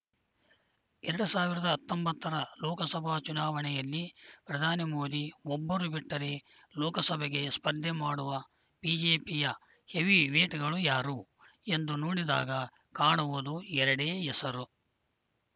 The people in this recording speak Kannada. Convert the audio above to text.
ಎರಡ್ ಸಾವಿರದ ಹತ್ತೊಂಬತ್ತರ ಲೋಕಸಭಾ ಚುನಾವಣೆಯಲ್ಲಿ ಪ್ರಧಾನಿ ಮೋದಿ ಒಬ್ಬರು ಬಿಟ್ಟರೆ ಲೋಕಸಭೆಗೆ ಸ್ಪರ್ಧೆ ಮಾಡುವ ಬಿಜೆಪಿಯ ಹೆವಿ ವೇಟ್‌ಗಳು ಯಾರು ಎಂದು ನೋಡಿದಾಗ ಕಾಣುವುದು ಎರಡೇ ಹೆಸರು